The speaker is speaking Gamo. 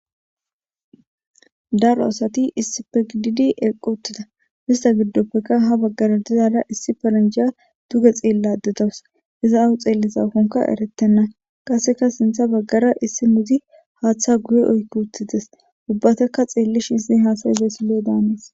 Daaro asati issippe giididi eqqi uttida issta giddopeka ha baggara diizara issi paranjja dugge xelayida dawusu izza awa xellizakoka erretena qasseka sinththe baggara issinozi haththa guye oykki uttides ubbataka xellishin izzeti hasaizayssa lo'o daness.